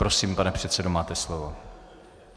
Prosím, pane předsedo, máte slovo.